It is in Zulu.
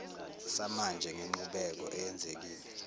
samanje ngenqubeko eyenzekile